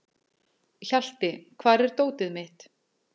Hjalti, hvar er dótið mitt?